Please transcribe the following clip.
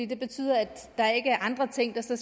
det betyder at der ikke er andre ting som